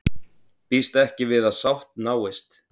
Býst ekki við að sátt náist